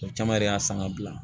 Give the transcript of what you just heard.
O caman yɛrɛ y'a san ka bila